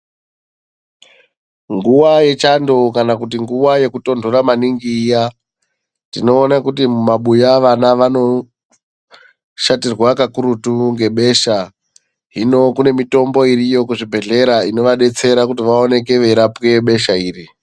Nguva yechando kana kuti nguva yekutontora maningi iya tinoona kuti mumabuya vana vanoshatirwa kakurutu ngebesha hino kune mitombo iriyo kuzvibhedhlera yebesha kuti vaoneke veirapiwa besha iri.